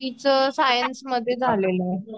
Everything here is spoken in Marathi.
तीच साइन्स मध्ये झालेल आहे.